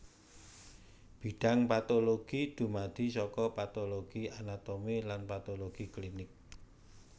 Bidhang patologi dumadi saka patologi anatomi lan patologi klinik